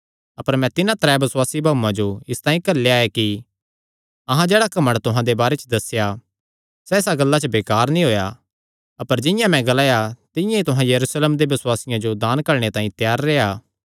अपर मैं तिन्हां त्रै बसुआसी भाऊआं जो इसतांई घल्लेया ऐ कि अहां जेह्ड़ा घमंड तुहां दे बारे च दस्सेया सैह़ इसा गल्ला च बेकार नीं होएया अपर जिंआं मैं ग्लाया तिंआं ई तुहां यरूशलेमे दे बसुआसियां जो दान घल्लणे तांई त्यार रेह्आ